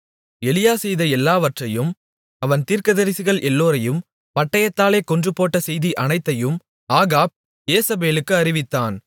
எலியா செய்த எல்லாவற்றையும் அவன் தீர்க்கதரிசிகள் எல்லோரையும் பட்டயத்தாலே கொன்றுபோட்ட செய்தி அனைத்தையும் ஆகாப் யேசபேலுக்கு அறிவித்தான்